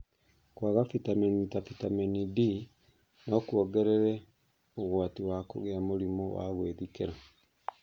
Kwaga vitamini ta vitamini D no kũongerere ũgwati wa kũgĩa mũrimũ wa gwĩthikĩra.